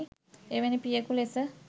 එවැනි පියකු ලෙස